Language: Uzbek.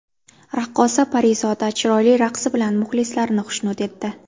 Raqqosa Parizoda chiroyli raqsi bilan muxlislarini xushnud etdi.